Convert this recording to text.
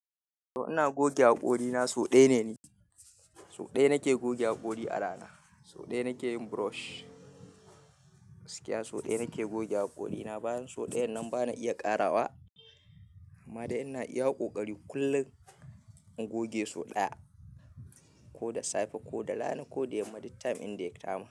To ina goge haƙorina sau ɗaya ne. So ɗaya nake goge haƙori a rana. Sau ɗaya nake yin brush. Gaskiya sau ɗaya nake goge haƙorina. Bayan sau ɗayan nan bana iya ƙarawa amma dai ina iya ƙoƙari kullum in goge sau ɗaya. Ko da safe ko da rana ko da yamma, duk time inda ya kama.